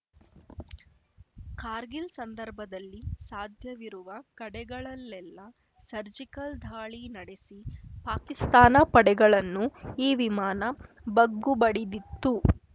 ಕಾರ್ಗಿಲ್‌ ಸಂದರ್ಭದಲ್ಲಿ ಸಾಧ್ಯವಿರುವ ಕಡೆಗಳಲ್ಲೆಲ್ಲಾ ಸರ್ಜಿಕಲ್‌ ದಾಳಿ ನಡೆಸಿ ಪಾಕಿಸ್ತಾನ ಪಡೆಗಳನ್ನು ಈ ವಿಮಾನ ಬಗ್ಗುಬಡಿದಿತ್ತು